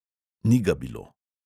Ni ga bilo.